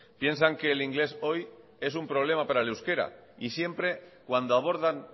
piensan que el inglés hoy es un problema para el euskera y siempre cuando abordan